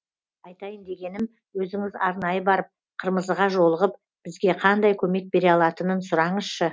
айтайын дегенім өзіңіз арнайы барып қырмызыға жолығып бізге қандай көмек бере алатынын сұраңызшы